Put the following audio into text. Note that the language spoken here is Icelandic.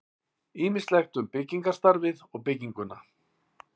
Ýmislegt um byggingarstarfið og bygginguna.